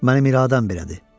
Mənim iradəm belədir.